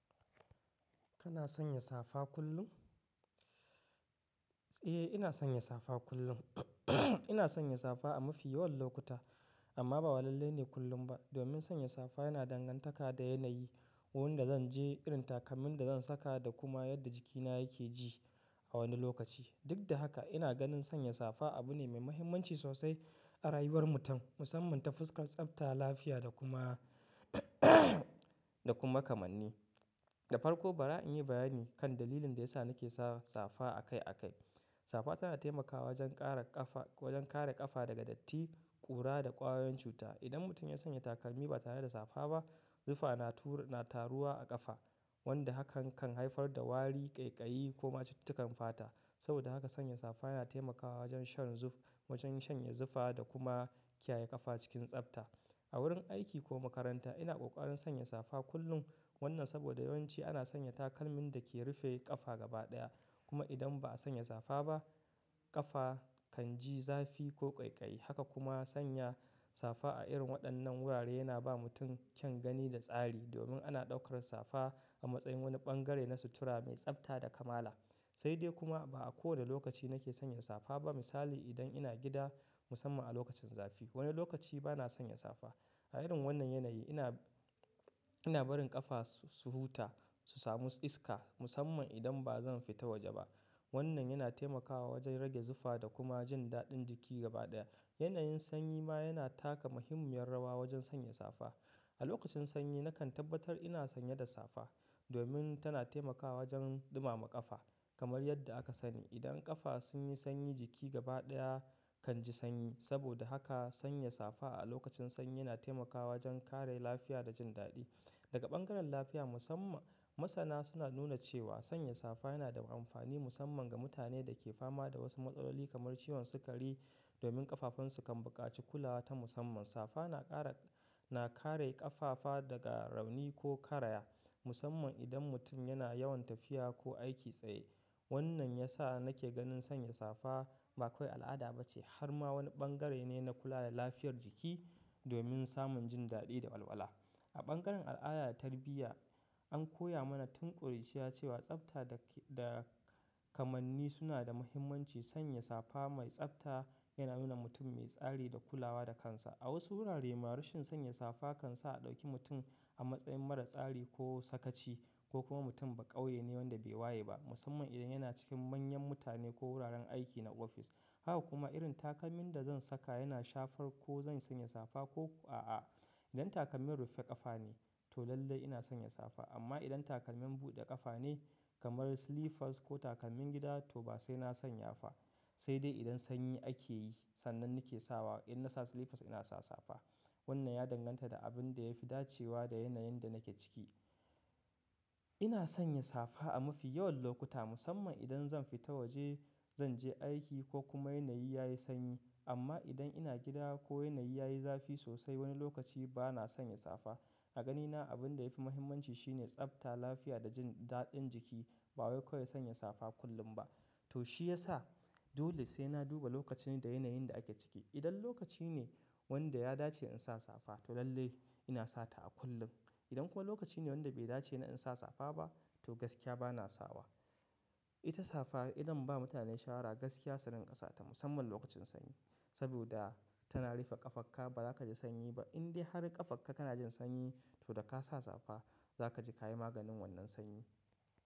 Kana sanya safa kullum? Eh, ina sanya safa kullum. Ina sanya safa a mafi yawan lokuta, amma ba wallale ne kullum ba. Domin sanya safa yana dangantaka da yanayi, wurin da zan je, irin takalmin da zan saka da kuma yadda jikina yake ji a wani lokaci. Duk da haka, ina ganin sanya safa abu ne mai mahimmanci sosai a rayuwar mutum, musamman ta fuskar tsafta, lafiya da kuma da kuma kamanni. Da farko, bara in yi bayani kan dalilin da yasa nake sa safa akai akai. Safa tana taimakawa wajen kare ƙafa, wajen kare ƙafa daga datti, ƙura da ƙwayoyin cuta. Idan mutum ya sanya takalmi ba tare da safa ba, zufa na turu, na taruwa a ƙafa, wanda hakan kan haifar da wari, ƙaiƙayi ko ma cututtukan fata. Saboda haka, sanya safa yana taimakawa wajen shan zuf, wajen shanye zufa da kuma kiyaye ƙafa cikin tsafta. A wurin aiki ko makaranta, ina ƙoƙarin sanya safa kullum. Wannan saboda yawanci ana sanya takalmin da ke rufe ƙafa gabaɗaya. Kuma idan ba a sanya safa ba, ƙafa kan ji zafi ko ƙaiƙayi. Haka kuma, sanya safa a irin waɗannan wurare yana ba mutum kyan gani da tsari, domin ana ɗaukar safa a matsayin wani ɓangare na sutura mai tsafta da kamala. Sai dai kuma, ba a kowane lokaci nake sanya safa ba. Misali, idan ina gida, musamman a lokacin zafi, wani lokaci ba na sanya safa. A irin wannan yanayi, ina, ina barin ƙafa su huta, su samu iska, musamman idan ba zan fita waje ba. Wannan yana taimakawa wajen rage zufa da kuma jin daɗin jiki gabaɗaya. Yanayin sanyi ma yana taka muhimmiyar rawa wajen sanya safa. A lokacin sanyi, nakan tabbatar ina sanye da safa, domin tana taimakawa wajen ɗumama ƙafa kamar yadda aka sani. Idan ƙafa sun yi sanyi, jiki gabaɗaya kan ji sanyi. Saboda haka, sanya safa a lokacin sanyi yana taimakawa wajen kare lafiya da jin daɗi. Daga bangaren lafiya musamman, masana suna nuna cewa sanya safa yana da amfani musamman ga mutanen da ke fama da wasu matsaloli kamar ciwon sukari, domin ƙafafunsu kan buƙaci kulawa ta musamman. Safa na ƙara, na kare ƙafafa daga rauni ko karaya, musamman idan mutum yana yawan tafiya ko aiki tsaye. Wannan ya sa nake ganin sanya safa ba kawai al'ada ba ce, har ma wani bangare ne na kula da lafiyar jiki domin samun jin daɗi da walwala. A ɓangaren al'ada da tarbiyya, an koya mana tun ƙuruciya cewa tsafta da ke, da kamanni suna da muhimmanci. Sanya safa mai tsafta yana nuna mutum mai tsari da kulawa da kansa. A wasu wurare ma, rashin sanya safa kan sa a ɗauki mutum a matsayin mara tsari ko sakaci, ko kuma mutum ba ƙauye ne wanda bai waye ba, musamman idan yana cikin manyan mutane ko wuraren aiki na ofis. Haka kuma, irin takalmin da zan saka yana shafar ko zan sanya safa ko a'a. Idan takalmin rufe ƙafa ne, to lalle ina sanya safa. Amma idan takalmin buɗe ƙafa ne kamar slippers ko takalmin gida, to ba sai na sanya safa. Sai dai idan sanyi ake yi, sannan nake sawa. In na sa slippers, ina sa safa. Wannan ya danganta da abin da ya fi dacewa da yanayin da nake ciki. Ina sanya safa a mafi yawan lokuta, musamman idan zan fita waje, zan je aiki ko kuma yanayi ya yi sanyi. Amma idan ina gida ko yanayi ya yi zafi sosai, wani lokaci ba na sanya safa. A ganina, abin da ya fi muhimmanci shine tsafta, lafiya da jin daɗin jiki, ba wai kawai sanya safa kullum ba. To shi ya sa dole sai na duba lokacin da yanayin da ake ciki. Idan lokaci ne wanda ya dace in sa safa, to lalle ina sata a kullum. Idan kuma lokaci ne wanda bai dace na in sa safa ba, to gaskiya ba na sawa. Ita safa idan ba mutane shawara, gaskiya surin ƙasa ta, musamman lokacin sanyi. Saboda tana rufe ƙafarka, ba za ka ji sanyi ba. In dai har ƙafarka kana jin sanyi, to da ka sa safa, za ka ji ka yi maganin wannan sanyi.